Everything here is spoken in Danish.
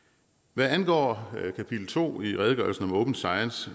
hvad angår kapitel to i redegørelsen om open science